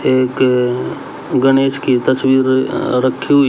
एक अ गणेश की तस्वीर अ रखी हुई--